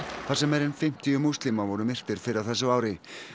þar sem meira en fimmtíu múslimar voru myrtir fyrr á þessu ári